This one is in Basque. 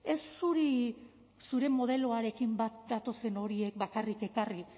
ez zuri zure modeloarekin bat datozen horiek bakarrik ekarri